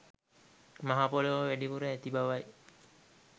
මහපොළොව වැඩිපුර ඇති බවයි.